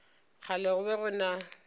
kgale go be go na